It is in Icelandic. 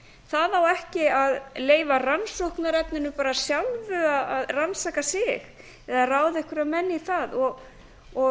það á ekki að leyfa rannsóknarefninu sjálfu að rannsaka sig eða ráða einhverja menn í það og